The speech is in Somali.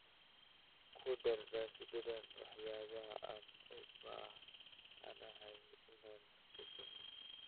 ku dar rasiidhadan waxyaabaha aan u baahanahay inaan ku safro